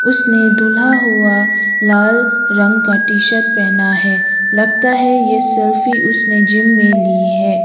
उसने धूल्हा हुआ लाल रंग का टी शर्ट पहेना है लगता है ये सेल्फी उसने जिम में ली है।